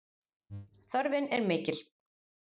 Þörfin er mikil